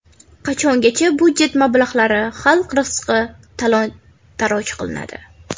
Qachongacha budjet mablag‘lari, xalq rizqi talon-toroj qilinadi?!